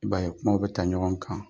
I B'a ye kumaw bɛ ta ɲɔgɔn kan.